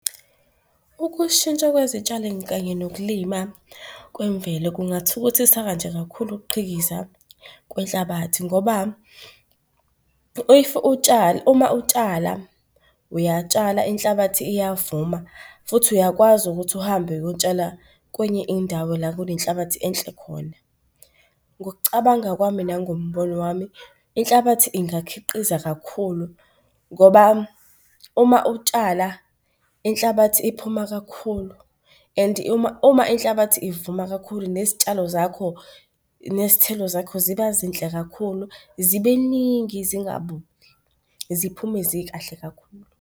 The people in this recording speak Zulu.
Ukushintsha kwezitshalo kanye nokulima kwemvelo kungathukuthiseka nje kakhulu ukuqhikiza kwenhlabathi ngoba if uma utshala uyatshala inhlabathi iyavuma futhi uyakwazi ukuthi uhambe uyotshala kwenye indawo la kunenhlabathi enhle khona. Ngokucabanga kwami nangombono wami, inhlabathi ingakhiqiza kakhulu ngoba uma utshala inhlabathi iphuma kakhulu, and uma, uma inhlabathi ivuma kakhulu nezitshalo zakho, nezithelo zakho ziba zinhle kakhulu, zibeningi zingabuni, ziphume zikahle kakhulu.